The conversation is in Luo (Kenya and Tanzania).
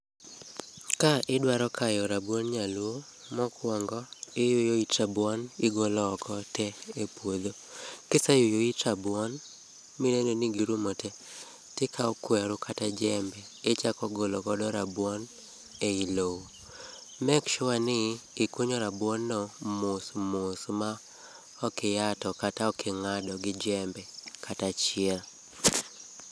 Ka idwaro kayo rabuond nyaluo mokuongo iyuyo it rabuon igolo oko tee e puodho. Kise yuyo it rabuon mineno ni girumo tee tikaw kweru kata jembe ichako golo rabuon ei loo, make sure ni ikunyo rabuon no mos mos ma ok ihato kata ok ingado gi jembe kata achiel